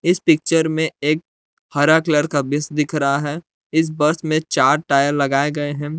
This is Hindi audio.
इस पिक्चर में एक हरा कलर का बस दिख रहा है इस बस में चार टायर लगाए गए हैं।